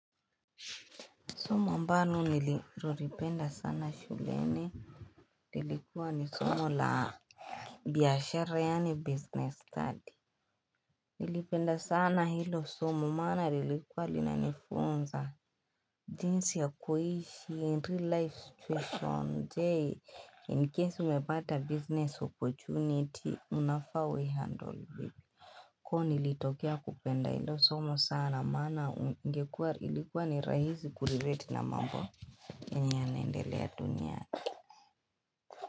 Somo ambano niloripenda sana shuleni lilikuwa ni somo la biashara yani business study Nilipenda sana hilo somo mana nilikuwa linanifunza jinsi ya kuhishi entry life situation day in case umebata business opportunity unafawe handle Koon ilitokea kupenda hilo somo sana mana ingekua ilikuwa ni rahizi kuliveti na mambo ni nendelea dunia.